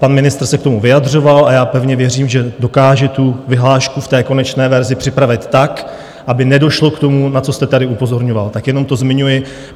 Pan ministr se k tomu vyjadřoval a já pevně věřím, že dokáže tu vyhlášku v té konečné verzi připravit tak, aby nedošlo k tomu, na co jste tady upozorňoval, tak jenom to zmiňuji.